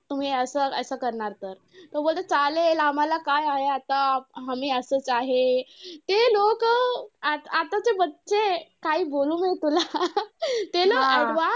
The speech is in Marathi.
तुम्ही असं असं करणार तर. तो बोलतो चालेल. आम्हांला काय आहे आता, आम्ही असंच आहे. ते लोक अं आताचे काय बोलू मी तुला ते लोकं advance